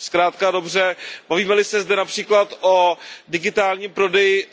Zkrátka a dobře, bavíme li se zde například o digitálním prodeji